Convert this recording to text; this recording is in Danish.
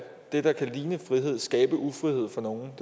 det der kan ligne frihed skabe ufrihed for nogle